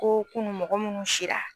Ko kunu mɔgɔ munnu sira